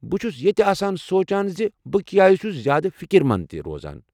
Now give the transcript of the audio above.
بہٕ چھُس یتہِ آسان سونٛچان زِ بہٕ کیٚازِ چھُس زیادٕ فِكر منٛد روزان۔